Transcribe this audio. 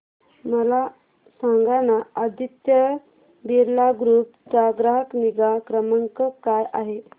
मला सांगाना आदित्य बिर्ला ग्रुप चा ग्राहक निगा क्रमांक काय आहे